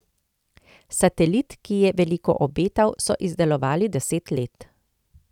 Satelit, ki je veliko obetal, so izdelovali deset let.